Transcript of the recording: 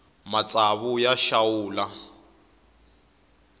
matsawu ya xawula